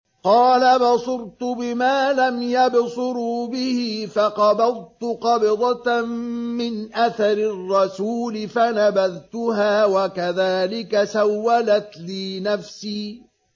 قَالَ بَصُرْتُ بِمَا لَمْ يَبْصُرُوا بِهِ فَقَبَضْتُ قَبْضَةً مِّنْ أَثَرِ الرَّسُولِ فَنَبَذْتُهَا وَكَذَٰلِكَ سَوَّلَتْ لِي نَفْسِي